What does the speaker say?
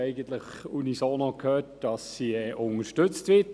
Ich habe eigentlich unisono gehört, dass sie unterstützt wird.